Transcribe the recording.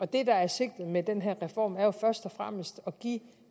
det der er sigtet med den her reform er jo først og fremmest at give